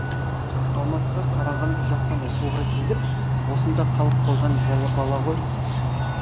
алматыға қарағанды жақтан оқуға келіп осында қалып қойған бала ғой